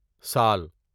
سال